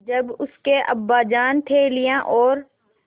जब उसके अब्बाजान थैलियाँ और